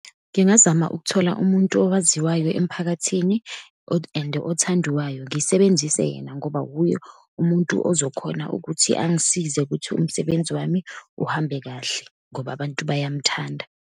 Ngingazama ukuthola umuntu owaziwayo emphakathini and othandiwayo. Ngisebenzise yena, ngoba wuye umuntu ozokhona ukuthi angisize ukuthi umsebenzi wami uhambe kahle, ngoba abantu bayamthanda.